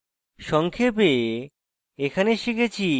সংক্ষেপে এখানে শিখেছি